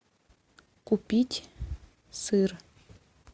купить сыр